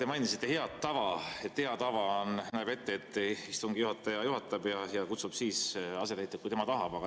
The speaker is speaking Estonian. Te mainisite head tava, et hea tava näeb ette, et istungi juhataja juhatab ja kutsub siis asetäitjad, kui tema tahab.